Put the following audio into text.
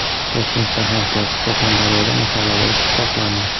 Toshkentda hamkasb, Surxondaryoda mahalladosh pichoqlandi.